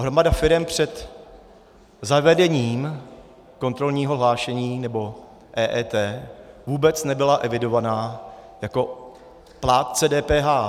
Hromada firem před zavedením kontrolního hlášení nebo EET vůbec nebyla evidována jako plátce DPH.